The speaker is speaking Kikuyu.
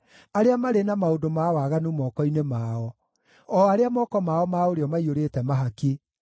arĩa marĩ na maũndũ ma waganu moko-inĩ mao, o arĩa moko mao ma ũrĩo maiyũrĩte mahaki.